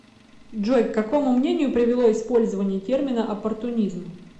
джой к какому мнению привело использование термина оппортунизм